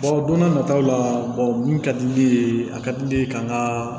don n'a nataw la mun ka di ne ye a ka di ne ye ka n ka